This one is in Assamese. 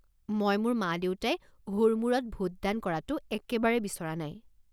মই মোৰ মা দেউতাই হুৰমূৰত ভোটদান কৰাটো একেবাৰে বিচৰা নাই।